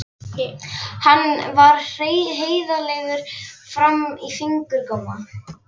Hann var heiðarlegur fram í fingurgóma.